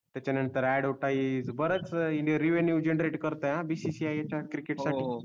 त्याच्या नंतर advertise बऱ्याच renew generate करते या bcci याच्या क्रिकेट साठी